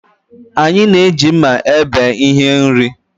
Anyị na-eji mma ebe ihe nri